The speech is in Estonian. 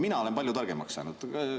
Mina olen palju targemaks saanud.